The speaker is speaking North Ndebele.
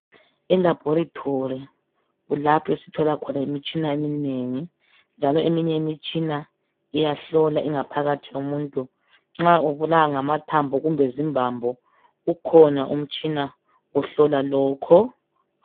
E laboratory kulapho esithola khona imitshina eminengi njalo eminye imitshina uyahlola ingaphakathi yomuntu. Nxa ubulawa ngamathambo kumbe zimbambo ukhona umtshina ohlola lokho.